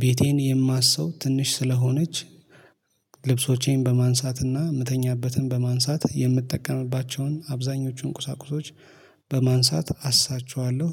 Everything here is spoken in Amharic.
ቤቴን የማሰው ትንሽ ስለሆነች ልብሶቼን በማንሳትና የምተኛበትን በማንሳት የምትጠቀምባቸውን አብዛኞቹን ቁሳቁሶች በማንሳት አስሳቸዋለሁ።